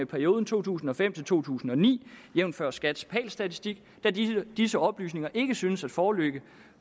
perioden to tusind og fem to tusind og ni jævnfør skats pal statistik da disse disse oplysninger ikke synes at foreligge